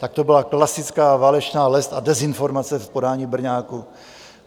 Tak to byla klasická válečná lest a dezinformace v podání Brňáků.